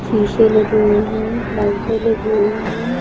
शीशे लगी हुई है लाइटें लगी हुई है।